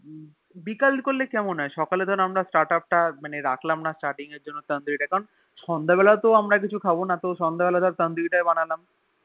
বিকাল করলে কেমন হয়ে সকাল ধর আমরা Startup মানে রাখলাম না Starting এর জন্যে Tandoori টা কারন সন্ধে বেলায় তো আমরা কিছু খাবোনা তাই তো সন্ধে বেলা ধরে Tandoori টা বানালাম